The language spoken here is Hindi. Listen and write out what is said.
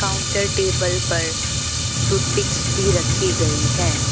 काउंटर टेबल पर टूथ पिक भी रखी गई है।